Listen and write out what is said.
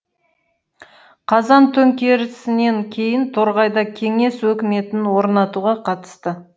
қазан төңкерісінен кейін торғайда кеңес өкіметін орнатуға қатысты